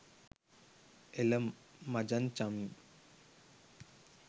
එල මචන් චමී